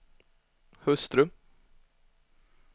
hustru